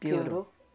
Piorou.